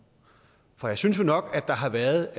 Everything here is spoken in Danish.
for jeg synes jo nok at der har været